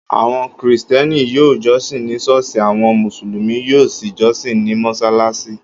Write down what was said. Áwo̩n Krìsté̩nì yóò jó̩sìn ni s̩óò̩s̩ì àwo̩n Mùsùlùmí yóò sì jósìn ní mo̩ś̩alás̩í